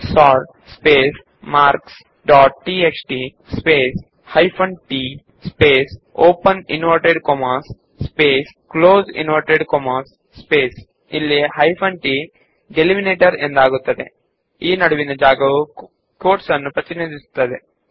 sort space marks dot TXT space hyphen t space open inverted commas space close inverted commas space ಇಲ್ಲಿ hyphen t ಎಲ್ಲೆಯನ್ನು ನಿರ್ಧರಿಸುತ್ತದೆ ಹಾಗೂ quote ಗಳ ನಡುವಿನ ಜಾಗ ಅದನ್ನು ಪ್ರತಿನಿಧಿಸುತ್ತದೆ